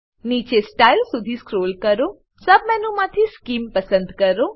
નીચે સ્ટાઇલ સુધી સ્ક્રોલ કરો સબ મેનુમાંથી સ્કીમ પસંદ કરો